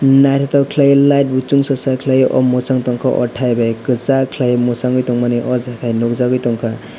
naitotok kelai bo light bo songsajak kelai o mochang tangka o taibeg kochak kelai mochangui tang mani o jaga nogjagoi tangka.